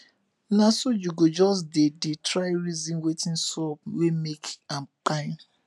na so yu go jus dey dey try reason wetin sup wey make am kpai